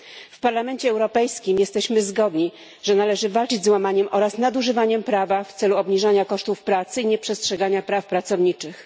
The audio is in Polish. W Parlamencie Europejskim jesteśmy zgodni, że należy walczyć z łamaniem oraz nadużywaniem prawa w celu obniżania kosztów pracy i nieprzestrzegania praw pracowniczych.